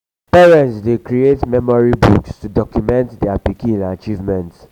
parents dey create memory books to document dier pikin achievement.